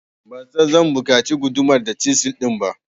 Ban san zan buƙaci gudumar da cisil din ba.